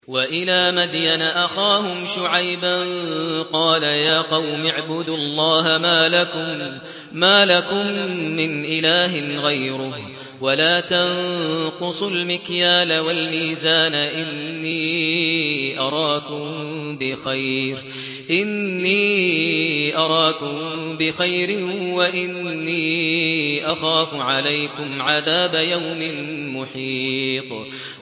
۞ وَإِلَىٰ مَدْيَنَ أَخَاهُمْ شُعَيْبًا ۚ قَالَ يَا قَوْمِ اعْبُدُوا اللَّهَ مَا لَكُم مِّنْ إِلَٰهٍ غَيْرُهُ ۖ وَلَا تَنقُصُوا الْمِكْيَالَ وَالْمِيزَانَ ۚ إِنِّي أَرَاكُم بِخَيْرٍ وَإِنِّي أَخَافُ عَلَيْكُمْ عَذَابَ يَوْمٍ مُّحِيطٍ